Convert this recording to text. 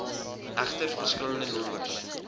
egter verskillende nommers